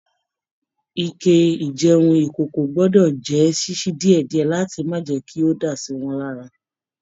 Ike ijẹun ikòkò gbọdọ jẹ ṣiṣi diẹdiẹ láti má jẹ́ kí o dá siwọn lára.